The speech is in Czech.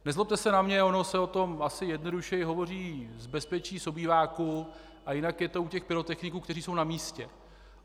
Nezlobte se na mě, ono se o tom asi jednodušeji hovoří z bezpečí obýváku a jinak je to u těch pyrotechniků, kteří jsou na místě.